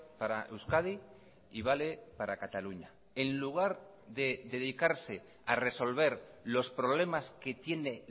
para euskadi y vale para cataluña en lugar de dedicarse a resolver los problemas que tiene